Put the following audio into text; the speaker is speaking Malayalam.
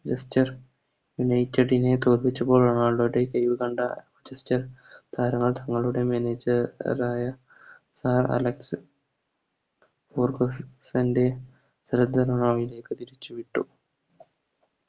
Manchester united നെ തോപ്പിച്ചപ്പോൾ റൊണാൾഡോയുടെ പേര് കണ്ട മാഞ്ചസ്റ്റർ താങ്കളുടെ manager ആയ സർ അലക്സ് ഫെർഗുസാൻറെ ലേക്ക് തിരിച്ചുവിട്ടു